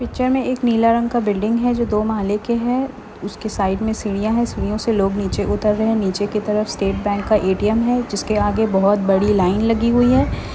Picture में एक नीला रंग का बिल्डिंग है जो दो माले के है उसकी साइड में सीढ़ीयां है सीढ़यो से लोग नीचे उतर रहे है नीचे की तरफ स्टेट बैक का ए_टी_एम है जिसके आगे बोहत बड़ी लाइन लगी हुई है।